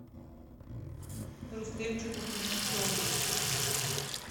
рустемчику кузнецову